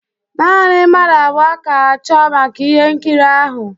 Naanị mmadụ abụọ ka-achọ maka ihe nkiri ahụ